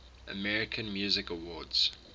american music awards